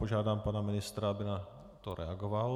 Požádám pana ministra, aby na to reagoval.